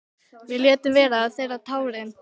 Við létum vera að þerra tárin.